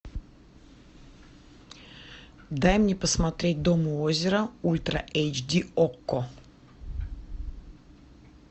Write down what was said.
дай мне посмотреть дом у озера ультра эйч ди окко